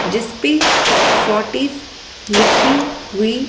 जिस पे फॉर्टिस लिखी हुई--